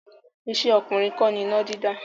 Iṣẹ́ ọkùnrin kọ́ ni iná dídá.